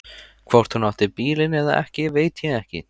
Hvort hún átti bílinn eða ekki veit ég ekki.